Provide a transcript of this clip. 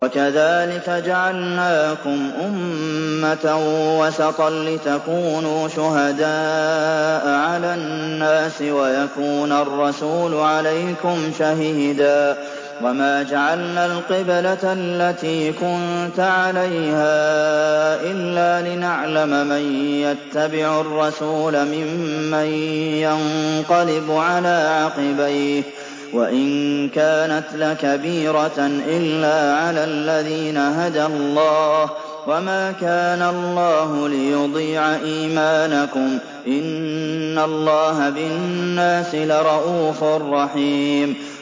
وَكَذَٰلِكَ جَعَلْنَاكُمْ أُمَّةً وَسَطًا لِّتَكُونُوا شُهَدَاءَ عَلَى النَّاسِ وَيَكُونَ الرَّسُولُ عَلَيْكُمْ شَهِيدًا ۗ وَمَا جَعَلْنَا الْقِبْلَةَ الَّتِي كُنتَ عَلَيْهَا إِلَّا لِنَعْلَمَ مَن يَتَّبِعُ الرَّسُولَ مِمَّن يَنقَلِبُ عَلَىٰ عَقِبَيْهِ ۚ وَإِن كَانَتْ لَكَبِيرَةً إِلَّا عَلَى الَّذِينَ هَدَى اللَّهُ ۗ وَمَا كَانَ اللَّهُ لِيُضِيعَ إِيمَانَكُمْ ۚ إِنَّ اللَّهَ بِالنَّاسِ لَرَءُوفٌ رَّحِيمٌ